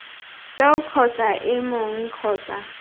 seo kgotsa ii mong kgotsa